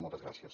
moltes gràcies